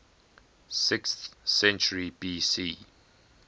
sixth century bc